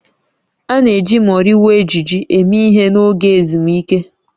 A na-eji moriwo ejiji eme ihe n'oge ezumike